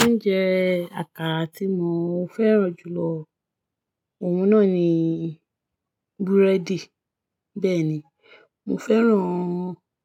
Oúnjẹ àkàrà tí mo fẹ́ràn jù lọ, òun náà ni búrẹ́dì. Bẹ́ẹ̀ni, mo fẹ́ràn